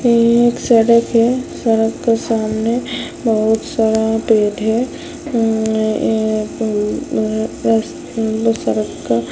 ये ये एक सड़क है सड़क के सामने बहुत सारा पेड़ है ये ये अ अ बहुत सारा क--